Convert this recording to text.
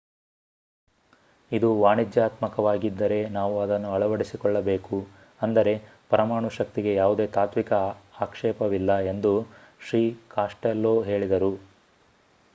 ಇದು ವಾಣಿಜ್ಯಾತ್ಮಕವಾಗಿದ್ದರೆ ನಾವು ಅದನ್ನು ಅಳವಡಿಸಿಕೊಳ್ಳಬೇಕು ಅಂದರೆ ಪರಮಾಣು ಶಕ್ತಿಗೆ ಯಾವುದೇ ತಾತ್ವಿಕ ಆಕ್ಷೇಪವಿಲ್ಲ ಎಂದು ಶ್ರೀ ಕಾಸ್ಟೆಲ್ಲೊ ಹೇಳಿದರು